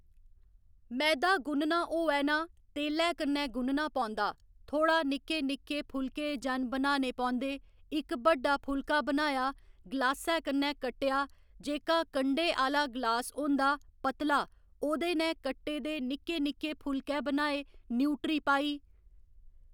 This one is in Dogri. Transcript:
मैदा गुन्नना होऐ ना तेलै कन्नै गुनना पौंदा थोह्ड़ा निक्के निक्के फुलके जन बनाने पौंदे इक्क बड्डा फुलका बनाया गलासै कन्नै कट्टेआ जेह्का कंढै आह्‌ला गलास होंदा पतला ओह्दे नै कट्टे दे निक्के निक्के फुलके बनाए न्यूट्री पाई